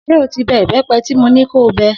S̩e o ti be̩ ìbé̩pe̩ tí mo ní kó o be̩?